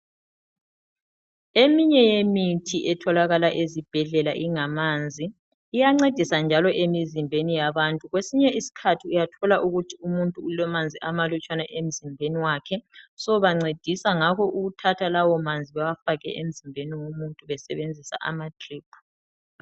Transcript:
Eminye yemithi etholakala ezibhedlela ingamanzi iyancedisa njalo emzimbeni yabantu. Kwesinye isikhathi uyathola ukuthi umuntu ulamanzi amalutshwane emzimbeni wakhe so bancedisa ngakho ukuthatha lawo manzi bewafake emzimbeni womuntu besebenzisa amadrip.